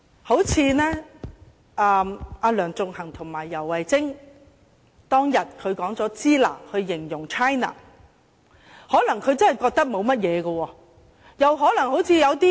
正如梁頌恆和游蕙禎當天以"支那"來形容 China， 他們可能真的認為沒有問題。